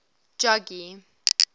jogee